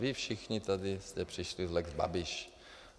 Vy všichni tady jste přišli s lex Babiš.